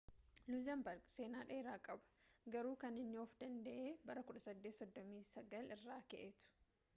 luxembourg seenaa dheeraa qaba ,garuu kan inni of-danda’e bara 1839 irraa ka’eetu